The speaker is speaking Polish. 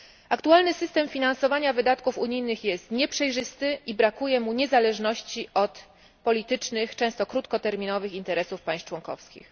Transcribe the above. Aktualny system finansowania wydatków unijnych jest nieprzejrzysty i brakuje mu niezależności od politycznych, często krótkoterminowych interesów państw członkowskich.